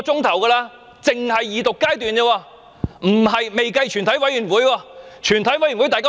這只是二讀階段而已，還未計及全體委員會審議階段。